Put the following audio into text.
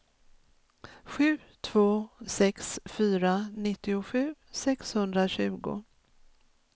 sju två sex fyra nittiosju sexhundratjugo